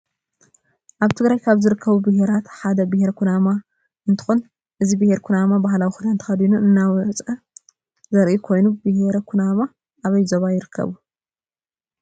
አብ ትግራይ ካብ ዝርከቡ ብሔራት ሓደ ብሔረ ኩናም እንትኮን እዚ ብሔረ ኩናማ ባህላዊ ክዳን ተከዲኑ እናወፀ ዘሪኢ ኮየኑ ብሔረ ኩናም አበይ ዞባ ይርከቡ?